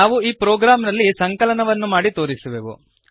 ನಾವು ಈ ಪ್ರೋಗ್ರಾಂನಲ್ಲಿ ಸಂಕಲನವನ್ನು ಮಾಡಿ ತೋರಿಸುವೆವು